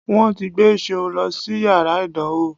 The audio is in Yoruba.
Wọ́n ti gbé Ṣeun lọ sí yàrá ìdánwò